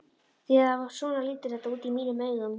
Því að svona lítur þetta út í mínum augum.